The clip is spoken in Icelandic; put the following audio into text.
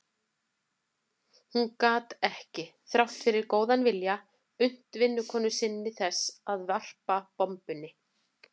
Hún gat ekki, þrátt fyrir góðan vilja, unnt vinnukonu sinni þess að varpa bombunni.